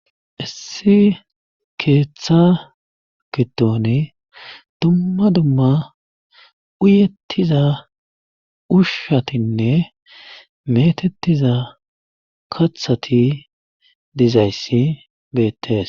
Issi keeththa gidon dumma dumma uyettiza ushshatinne meetettiza kathati dizayssi beettees.